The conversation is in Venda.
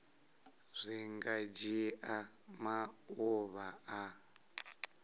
zwi nga dzhia maḓuvha a